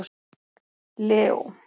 Leó